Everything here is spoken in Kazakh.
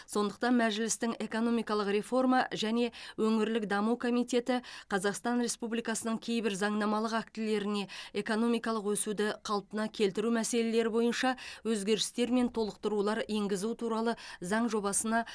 сондықтан мәжілістің экономикалық реформа және өңірлік даму комитеті қазақстан республикасының кейбір заңнамалық актілеріне экономикалық өсуді қалпына келтіру мәселелері бойынша өзгерістер мен толықтырулар енгізу туралы заң жобасына